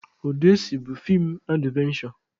Ọdesi bụ feem advenshọ.